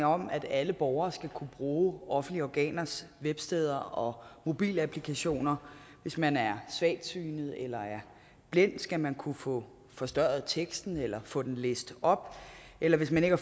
om at alle borgere skal kunne bruge offentlige organers websteder og mobilapplikationer hvis man er svagtsynet eller er blind skal man kunne få forstørret teksten eller få den læst op eller hvis man ikke